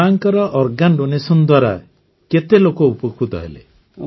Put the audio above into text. ମାଙ୍କର organ donation ଦ୍ୱାରା କେତେ ଲୋକ ଉପକୃତ ହେଲେ